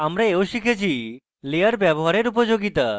আমরা we শিখেছি layer ব্যবহার করার উপযোগিতা